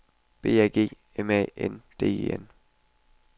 B A G M A N D E N